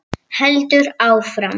Heldur áfram